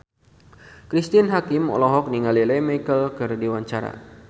Cristine Hakim olohok ningali Lea Michele keur diwawancara